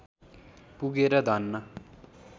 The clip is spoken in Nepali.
पुगेर धन्न